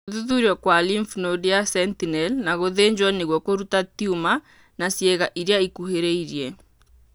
Gũthuthurio kwa lymph node ya sentinel na gũthĩnjwo nĩguo kũruta tiuma na ciĩga iria ikuhĩrĩirie.